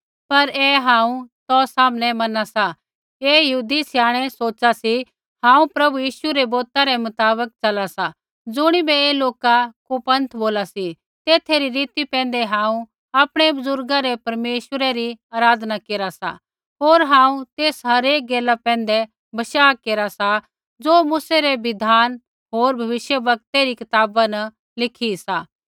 पर ऐ हांऊँ तौ सामनै मना सा कि ऐ यहूदी स्याणै सोच़ै हांऊँ प्रभु यीशु रै बौतै रै मुताबक च़ला सा ज़ुणिबै ऐ लोका कुपन्थ बोला सी तेथै री रीति पैंधै हांऊँ आपणै बुज़ुर्गा रै परमेश्वरै री आराधना केरा सा होर हांऊँ तेस हरेक गैला पैंधै बशाह केरा सा ज़ो मूसै रै बिधान होर भविष्यवक्तै री कताबा न लिखी सी